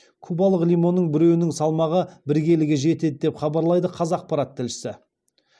кубалық лимонның біреуінің салмағы бір келіге жетеді деп хабарлайды қазақпарат тілшісі